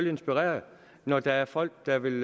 inspireret når der er folk der vil